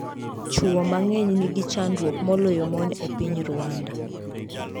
Chwo mang'eny nigi chandruok moloyo mon e piny Rwanda